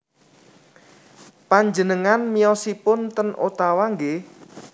Panjenengan miyosipun ten Ottawa nggih